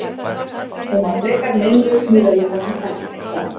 Hún var frekar meinlaus miðað við það sem þekkist í dag.